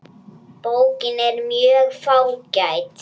Bókin er mjög fágæt.